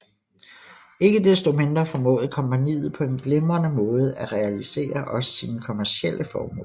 Ikke desto mindre formåede kompagniet på en glimrende måde at realisere også sine kommercielle formål